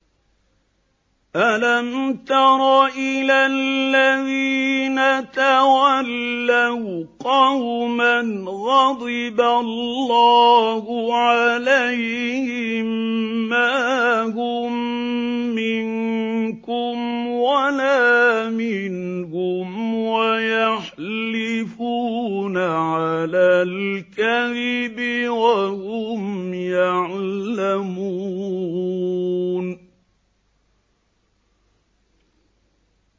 ۞ أَلَمْ تَرَ إِلَى الَّذِينَ تَوَلَّوْا قَوْمًا غَضِبَ اللَّهُ عَلَيْهِم مَّا هُم مِّنكُمْ وَلَا مِنْهُمْ وَيَحْلِفُونَ عَلَى الْكَذِبِ وَهُمْ يَعْلَمُونَ